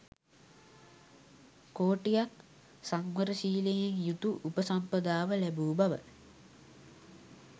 කෝටියක් සංවරශීලයෙන් යුතු උපසම්පදාව ලැබූ බව